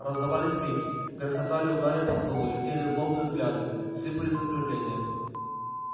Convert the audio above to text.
раздавались крики грохотали удары по столу летели злобные взгляды сыпались оскорбления